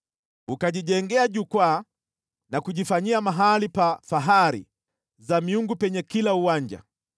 Ukajijengea jukwaa na kujifanyia mahali pa fahari pa ibada za miungu kwenye kila uwanja wa mikutano.